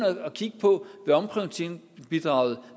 kigger på hvad omprioriteringsbidraget